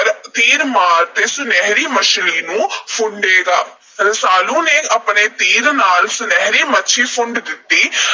ਵਿਚ ਤੀਰ ਮਾਰ ਕੇ ਸੁਨਹਿਰੀ ਮੱਛਲੀ ਨੂੰ ਫੁੰਡੇਗਾ। ਰਸਾਲੂ ਨੇ ਆਪਣੇ ਤੀਰ ਨਾਲ ਸੁਨਹਿਰੀ ਮੱਛਲੀ ਨੂੰ ਫੁੰਡ ਦਿੱਤਾ।